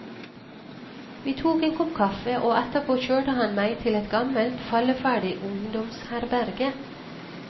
Vi tok en kopp kaffe, og etterpå kjørte han meg til et gammelt, falleferdig ungdomsherberge.